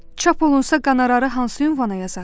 Çap olunsa qonorarını hansı ünvana yazaq?